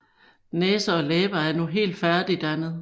Næse og læber er nu helt færdigdannet